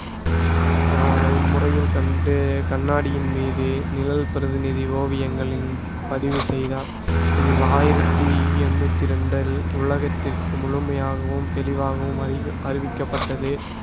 ஆஹ் இம்முறையில் கண்டு கண்ணாடியின் மீது நிழல் பிரதிநிதி ஓவியங்களின் பதிவு செய்தார் இதில் ஆயிரத்தி எட்நூத்தி ரெண்டில் உலகத்திற்கு முழுமையாகவும் தெளிவாகவும் அறிவி~ அறிவிக்கப்பட்டது